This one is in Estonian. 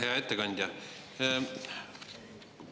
Hea ettekandja!